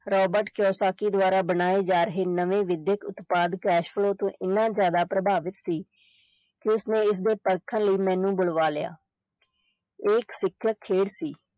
Robert Kiyosaki ਦੁਆਰਾ ਬਣਾਏ ਜਾ ਰਹੇ ਨਵੇਂ ਵਿਦਿਅਕ ਉਤਪਾਦ ਤੋਂ ਇੰਨਾ ਜ਼ਿਆਦਾ ਪ੍ਰਭਾਵਿਤ ਸੀ ਕਿ ਉਸਨੇ ਇਸਦੇ ਪਰਖਣ ਲਈ ਮੈਨੂੰ ਬੁਲਵਾ ਲਿਆ ਇਹ ਇੱਕ ਸਿਖਿਅਕ ਖੇਡ ਸੀ